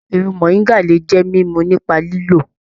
Ewé moringa le jẹ mímú nípa lílọ.